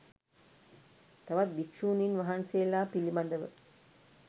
තවත් භික්‍ෂුණින් වහන්සේලා පිළිබඳව